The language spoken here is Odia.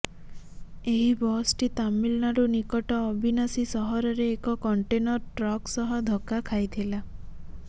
ଏହି ବସ୍ଟି ତାମିଲନାଡୁ ନିକଟ ଅବିନାଶୀ ସହରରେ ଏକ କଣ୍ଟେନର୍ ଟ୍ରକ୍ ସହ ଧକ୍କା ଖାଇଥିଲା